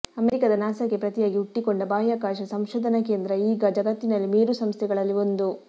ಅಮೆರಿಕದ ನಾಸಾಕ್ಕೆ ಪ್ರತಿಯಾಗಿ ಹುಟ್ಟಿಕೊಂಡ ಬಾಹ್ಯಾಕಾಶ ಸಂಶೋಧನಾ ಕೇಂದ್ರ ಈಗ ಜಗತ್ತಿನ ಮೇರು ಸಂಸ್ಥೆಗಳಲ್ಲಿ ಒಂದು